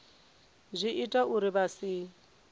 zwi ita uri vha si